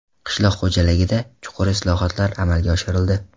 Qishloq xo‘jaligida chuqur islohotlar amalga oshirildi.